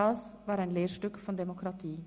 Das war ein Lehrstück von Demokratie.